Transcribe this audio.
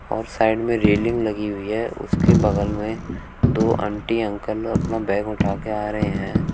और साइड में रेलिंग लगी हुई है उसके बगल में दो आंटी अंकल अपना बैग उठा के आ रहे हैं।